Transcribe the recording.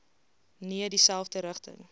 nee dieselfde rigting